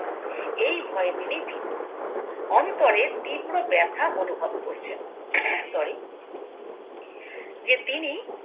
এই ভয়ে তিনি ভীত অন্তরে তীব্র ব্যাথা অনুভব করছেন sorry যে তিনি